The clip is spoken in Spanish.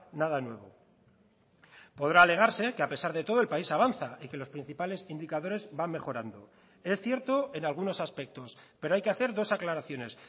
nada nuevo podrá alegarse que a pesar de todo el país avanza y que los principales indicadores van mejorando es cierto en algunos aspectos pero hay que hacer dos aclaraciones